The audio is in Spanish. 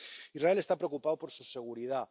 Israel está preocupado por su seguridad.